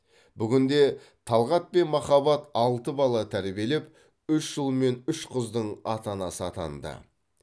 бүгінде талғат пен махаббат алты бала тәрбиелеп үш ұл мен үш қыздың ата анасы атанды